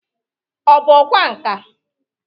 Ọ bụ ọkwa nka?